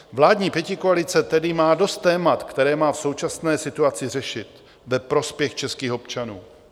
Vládní pětikoalice tedy má dost témat, která má v současné situaci řešit ve prospěch českých občanů.